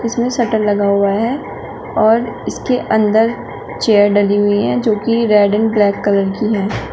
इसमें शटर लगा हुआ है और इसके अंदर चेयर डली हुई है जोकि रेड एंड ब्लैक कलर की है।